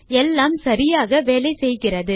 எல்லாம் சரியாக வேலை செய்கிறது